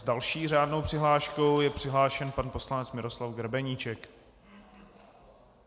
S další řádnou přihláškou je přihlášen pan poslanec Miroslav Grebeníček.